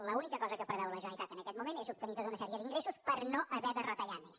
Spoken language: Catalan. l’única cosa que preveu la generalitat en aquest moment és obtenir tota una sèrie d’ingressos per no haver de retallar més